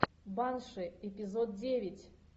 банши эпизод девять